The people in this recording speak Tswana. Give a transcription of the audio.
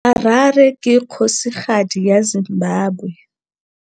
Harare ke kgosigadi ya Zimbabwe.